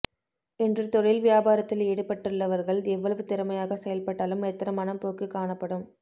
இன்று தொழில் வியாபாரத்தில் ஈடுபட்டுள்ளவர்கள் எவ்வளவு திறமையாக செயல்பட்டாலும் மெத்தனமான போக்கு காணப்படும்